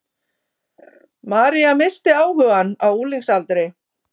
María missti áhugann á unglingsaldri.